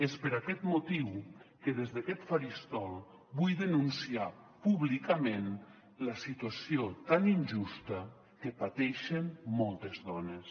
és per aquest motiu que des d’aquest faristol vull denunciar públicament la situació tan injusta que pateixen moltes dones